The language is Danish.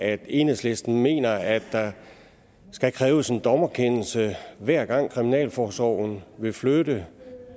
at enhedslisten mener at der skal kræves en dommerkendelse hver gang kriminalforsorgen vil flytte